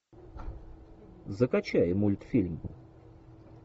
закачай мультфильм